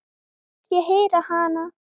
Finnst ég heyra hana.